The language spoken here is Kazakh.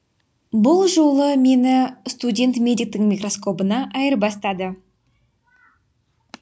бұл жолы мені студент медиктің микроскопына айырбастады